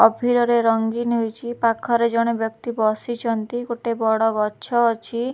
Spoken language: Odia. ଅଭିରରେ ରଙ୍ଗୀନ ହୋଇଛି। ପାଖରେ ଜଣେ ବ୍ୟକ୍ତି ବସିଚନ୍ତି। ଗୋଟେ ବଡ ଗଛ ଅଛି।